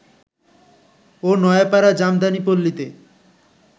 ও Noapara Jamdani পল্লীতে